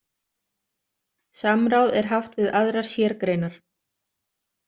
Samráð er haft við aðrar sérgreinar.